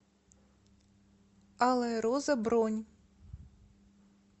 алая роза бронь